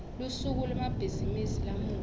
lusuku lwemabhizimisi lamuhla